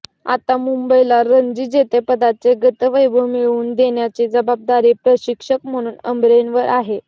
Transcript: आता मुंबईला रणजी जेतेपदाचे गतवैभव मिळवून देण्याची जबाबदारी प्रशिक्षक म्हणून अमरेंवर आहे